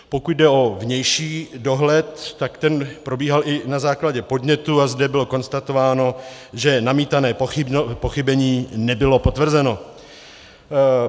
Pokud jde o vnější dohled, tak ten probíhal i na základě podnětu a zde bylo konstatováno, že namítané pochybení nebylo potvrzeno.